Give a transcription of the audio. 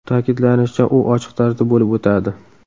Ta’kidlanishicha, u ochiq tarzda bo‘lib o‘tadi.